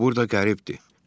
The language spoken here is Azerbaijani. O burada qəribdir.